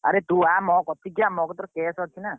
ଆର ତୁ ଆ ମୋ କତିକି ଆ ମୋ କତିରେ cash ଅଛି ନା।